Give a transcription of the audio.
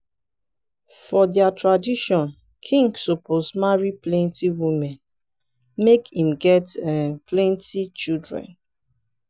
for their tradition king suppose marry plenty women make im get um plenty children.